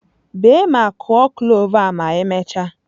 Bee ma kụọ cloves a ma emechaa!